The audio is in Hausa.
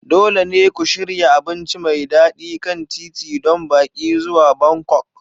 Dole ne ku shirya abinci mai daɗi kan titi don baƙi zuwa Bangkok.